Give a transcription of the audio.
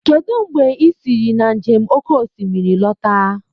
Kedu mgbe i siri na njem oke osimiri lọta